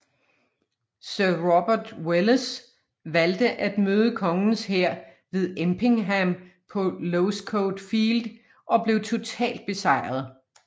Sir Robert Welles valgte at møde kongens hær ved Empingham på Losecoat Field og blev totalt besejret